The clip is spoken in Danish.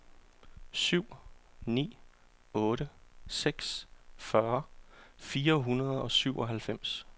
syv ni otte seks fyrre fire hundrede og syvoghalvfems